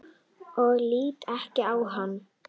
Og lít ekki á hana.